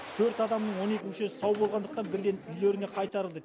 төрт адамның он екі мүшесі сау болғандықтан бірден үйлеріне қайтарылды